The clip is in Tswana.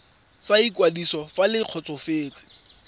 sa ikwadiso fa le kgotsofetse